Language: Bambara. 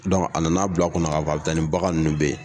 a nan'a bila kun na ka taa ni bagan ninnu bɛɛ ye.